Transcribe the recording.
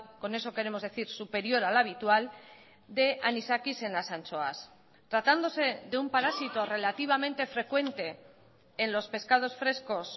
con eso queremos decir superior al habitual de anisakis en las anchoas tratándose de un parásito relativamente frecuente en los pescados frescos